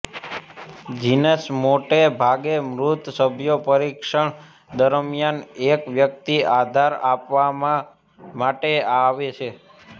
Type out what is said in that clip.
જીનસ મોટે ભાગે મૃત સભ્યો પરીક્ષણ દરમિયાન એક વ્યક્તિ આધાર આપવા માટે આવે છે